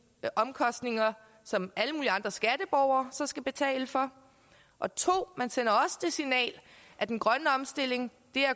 omkostninger som alle mulige andre skatteborgere så skal betale for og 2 at den grønne omstilling